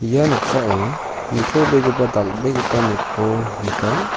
ia noksao nitobegipa dal·begipa nokko nika.